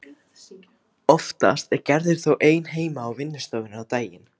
Oftast er Gerður þó ein heima í vinnustofunni á daginn.